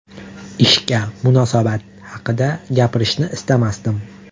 Ishga munosabat haqida gapirishni istamasdim.